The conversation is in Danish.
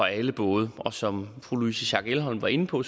alle både og som fru louise schack elholm var inde på